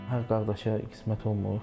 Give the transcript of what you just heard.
Hər qardaşa qismət olmur.